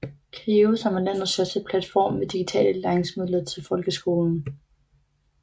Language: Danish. CLIO som er landets største platform med digitale læringsmidler til folkeskolen